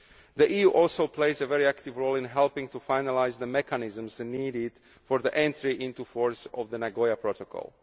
The EU also plays a very active role in helping to finalise the mechanisms needed for the entry into force of the Nagoya Protocol.